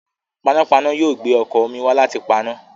Panápaná yóò gbé ọkọ̀ omi wá láti paná.